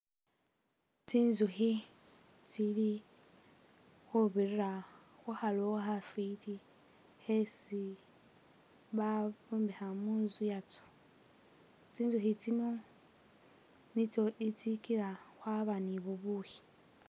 Tsinzukhi tsili khubirila khu kha lowo khafiti khesi bombekha mutsu yazo, tsinzukhi tsino nitso tsigila khwaba ni bubukhi.